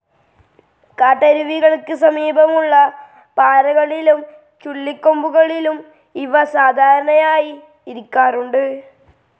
കാട്ടരുവികൾക്ക് സമീപമുള്ള പാറകളിലും ചുള്ളിക്കൊമ്പുകളിലും ഇവ സാധാരണയായി ഇരിക്കാറുണ്ട്.